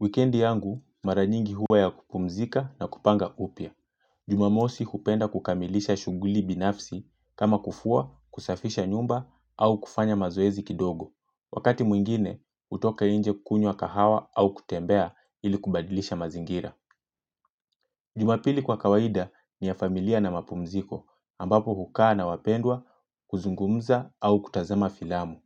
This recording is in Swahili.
Wikendi yangu, mara nyingi huwa ya kupumzika na kupanga upya. Jumamosi hupenda kukamilisha shughuli binafsi kama kufua, kusafisha nyumba au kufanya mazoezi kidogo. Wakati mwingine, hutoka nje kukunywa kahawa au kutembea ili kubadilisha mazingira. Jumapili kwa kawaida ni ya familia na mapumziko ambapo hukaa na wapendwa, kuzungumza au kutazama filamu.